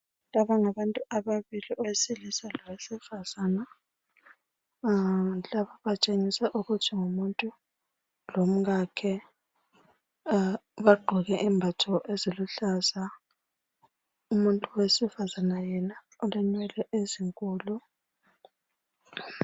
Laba ngabantu ababili. Owesilisa lowesifazana. Laba batshengisa ukuthi ngumuntu lomkakhe. Bagqoke imbatho eziluhlaza. Umuntu wesifazana yena, ulenwele ezinkulu.